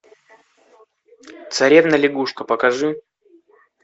царевна лягушка покажи